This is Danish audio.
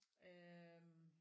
Øh